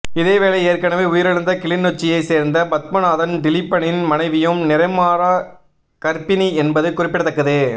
இதேவேளை ஏற்கனவே உயிரிழந்த கிளிநொச்சியை சேர்ந்த பத்மநாதன் திலீபனின் மனைவியும் நிறைமாத கர்ப்பிணி என்பது குறிப்பிடத்தக்கது